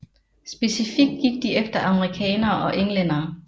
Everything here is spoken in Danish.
Specifikt gik de efter amerikanere og englændere